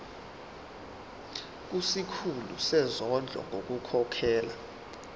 kusikhulu sezondlo ngokukhokhela